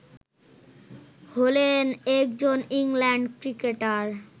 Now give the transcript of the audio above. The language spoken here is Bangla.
হলেন একজন ইংল্যান্ড ক্রিকেটার